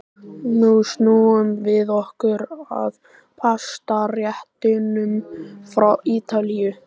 Nú snúum við okkur að pastaréttunum frá Ítalíu.